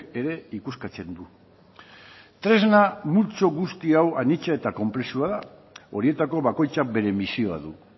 ere ikuskatzen du tresna multzo guzti hau anitza eta konplexua da horietako bakoitzak bere misioa du